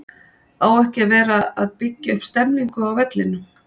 Á ekki að vera að byggja upp stemningu á vellinum??